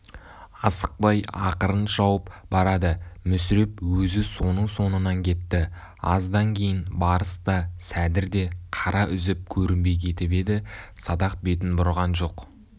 асықпай ақырын шауып барады мүсіреп өзі соның соңынан кетті аздан кейін барыс та сәдір де қара үзіп көрінбей кетіп еді садақ бетін бұрған жоқ